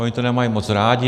Oni to nemají moc rádi.